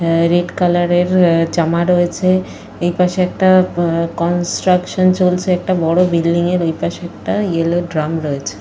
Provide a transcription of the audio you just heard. আঃ red colour - এর জামা রয়েছে। এইপাশে একটা কনস্ট্রাকশন চলছে। একটা বড় বিল্ডিং - এর একটা ওইপাশে একটা ইয়েলো ড্রাম রয়েছে।